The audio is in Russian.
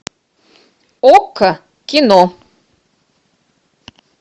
окко кино